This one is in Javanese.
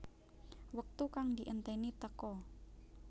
Wektu kang dienteni teka